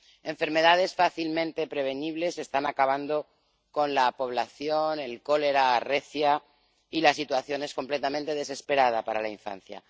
Enfermedades fácilmente prevenibles están acabando con la población, el cólera arrecia y la situación es completamente desesperada para la infancia.